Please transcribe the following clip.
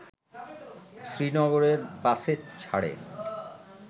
শ্রীনগরের বাসেছাড়ে